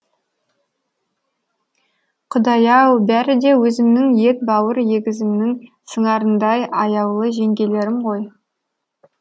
құдай ау бәрі де өзімнің ет бауыр егізімнің сыңарындай аяулы жеңгелерім ғой